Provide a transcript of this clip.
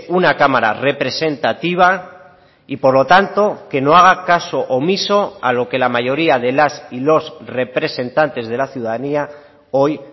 una cámara representativa y por lo tanto que no haga caso omiso a lo que la mayoría de las y los representantes de la ciudadanía hoy